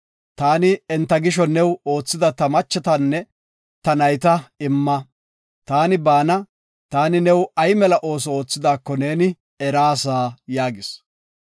Taani enta gisho new oothida ta macceetanne ta nayta imma. Taani baana, taani new ay mela ooso oothidaako neeni eraasa” yaagis.